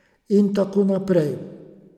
In tako naprej.